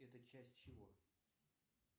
это часть чего